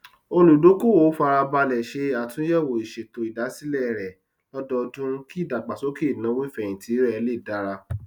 olùdókòwò fara balẹ ṣe àtúnyẹwò ìṣètò ìdásílẹ rẹ lódoodún kí ìdàgbàsókè ináwó ìfẹhìntì rẹ lè dára